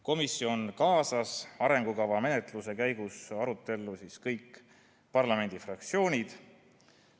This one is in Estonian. Komisjon kaasas arengukava menetluse käigus arutellu kõik parlamendifraktsioonid.